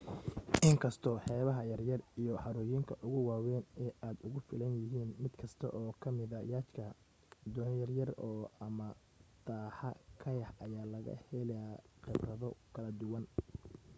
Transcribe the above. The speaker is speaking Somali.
in kastoo xeebaha yaryar iyo harooyinka ugu waaweyni aad ugu filanyihiin mid kasta oo kammida yacht ka doonyo yaryar ama taxaa kayak ayaa laga helaa khibrado kala duwan